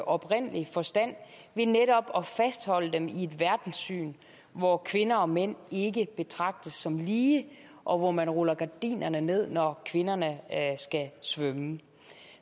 oprindelige forstand ved netop at fastholde dem i et verdenssyn hvor kvinder og mænd ikke betragtes som lige og hvor man ruller gardinerne ned når kvinderne skal svømme